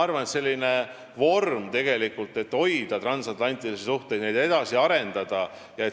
Ma arvan, et selline vorm on sobiv, selleks et hoida transatlantilisi suhteid ja neid edasi arendada.